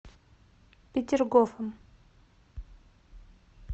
петергофом